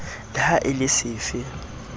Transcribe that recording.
le ha e le sefe